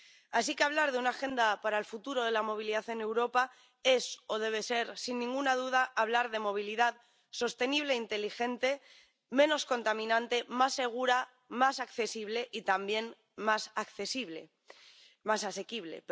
Así que hablar de una agenda para el futuro de la movilidad en Europa es —o debe ser—, sin ninguna duda, hablar de movilidad sostenible e inteligente, menos contaminante, más segura, más accesible y también más asequible.